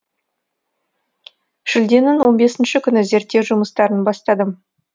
шілденің он бесі күні зерттеу жұмыстарын бастадым